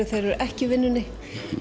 þeir eru ekki í vinnunni